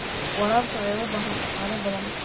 Waraabka ayaa u baahan dhaqaale badan.